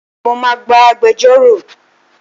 Mo máa gba agbejórò.